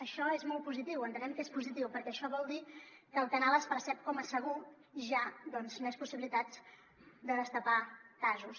això és molt positiu entenem que és positiu perquè això vol dir que el canal es percep com a segur hi ha doncs més possibilitats de destapar casos